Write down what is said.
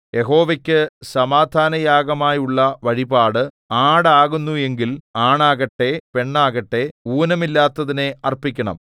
യഹോവയ്ക്കു സമാധാനയാഗമായുള്ള വഴിപാട് ആട് ആകുന്നു എങ്കിൽ ആണാകട്ടെ പെണ്ണാകട്ടെ ഊനമില്ലാത്തതിനെ അർപ്പിക്കണം